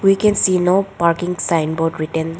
We can see no parking sign board written.